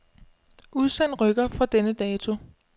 Udsend rykker fra denne dato.